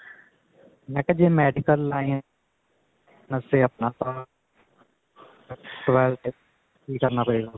ਮੈਂ ਕਿਹਾ ਜੇ medical line ਵਾਸਤੇ ਆਪਾਂ ਕਿ ਕਰਨਾ ਪਏਗਾ